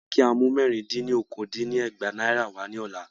Wọ́n ní kí á mu mẹ́rì-dín-ní- okòó dín ní ẹgbàá Náírà wa ní ọ̀la.